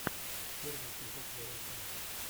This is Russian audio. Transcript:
первый эпизод лерой санчес